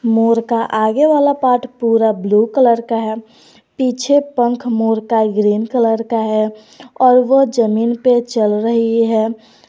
मोर का आगे वाला पार्ट पूरा ब्लू कलर का है पीछे पंख मोर का ग्रीन कलर का है और वह जमीन पे चल रही है।